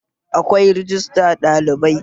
Akwai rajistar ɗalibai